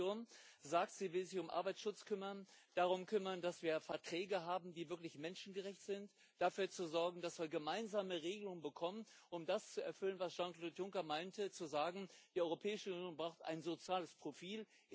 Die Kommission sagt, sie will sich um Arbeitsschutz kümmern, darum kümmern, dass wir Verträge haben, die wirklich menschengerecht sind, dafür sorgen, dass wir gemeinsame Regelungen bekommen, um das zu erfüllen, was Jean Claude Juncker meinte, als er sagte Die Europäische Union braucht ein soziales Profil.